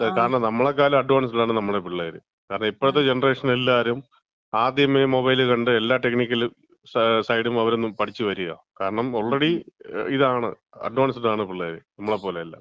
കാരണം നമ്മളെക്കാലും അഡ്വാൻസ്ഡ് ആണ് നമ്മളെ പിള്ളേര്. കാരണം ഇപ്പഴത്തെ ജെനറേഷൻ എല്ലാരും ആദ്യമേ മൊബൈൽ കണ്ട് എല്ലാ ടെക്നിക്കലും സൈഡും അവര് പഠിച്ച് വരികയാണ്. കാരണം ഓൾറെഡി ഇതാണ്, അഡ്വാൻസ്ഡ് ആണ് പിള്ളേര്. നമ്മളെ പോലെയല്ല.